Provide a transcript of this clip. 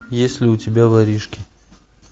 есть ли у тебя воришки